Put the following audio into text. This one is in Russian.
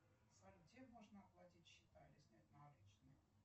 салют где можно оплатить счета или снять наличные